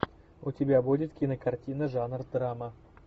у тебя будет кинокартина жанр драма